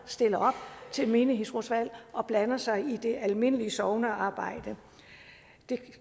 stille op til menighedsrådsvalg og blande sig i det almindelige sognearbejde det